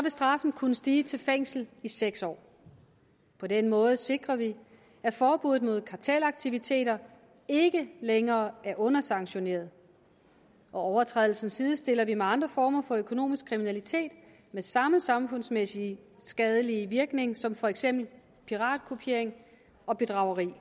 straffen kunne stige til fængsel i seks år på den måde sikrer vi at forbuddet mod kartelaktiviteter ikke længere er undersanktioneret overtrædelsen sidestiller vi med andre former for økonomisk kriminalitet med samme samfundsmæssigt skadelige virkning som for eksempel piratkopiering og bedrageri